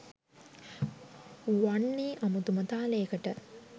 වන්නෙ අමුතුම තාලයකට.